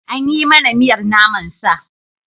An yi mana miyar naman sa.